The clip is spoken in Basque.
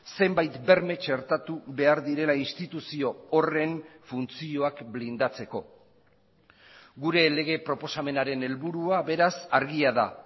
zenbait berme txertatu behar direla instituzio horren funtzioak blindatzeko gure lege proposamenaren helburua beraz argia da